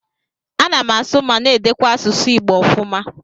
Ana m asụ ma na-edekwa asụsụ Igbo ofuma.